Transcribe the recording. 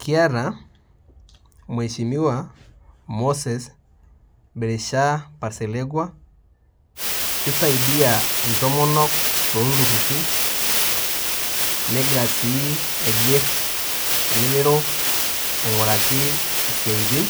Kiata mweshimiwa moses birisha parselekwa , kisaidia ntomonok toltururi negira si aiger elelero ainguraki siatin